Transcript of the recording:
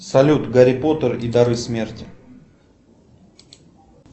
салют гарри поттер и дары смерти